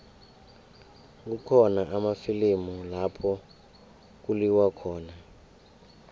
kukhona amafilimu lapho kuliwa khona